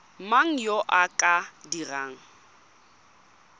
mang yo o ka dirang